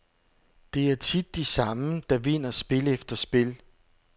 Det er tit de samme, der vinder spil efter spil.